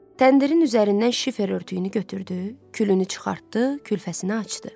Təndirin üzərindən şifer örtüyünü götürdü, külünü çıxartdı, külfəsini açdı.